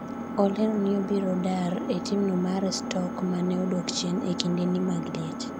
olero ni obiro dar e timno mar Stoke mane odok chien e kindeni mag liet